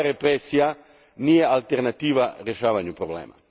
Represija nije alternativa rješavanju problema.